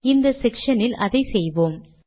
இந்த செக்ஷனில் அதை செய்வோம்